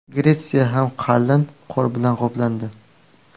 Gretsiya ham qalin qor bilan qoplandi .